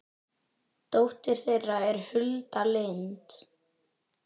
dóttir þeirra er Hulda Lind.